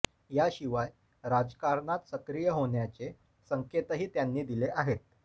याशिवाय राजकारणात सक्रिय होण्याचे संकेतही त्यांनी दिले आहेत